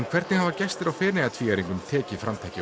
hvernig hafa gestir á Feneyjatvíæringnum tekið framtaki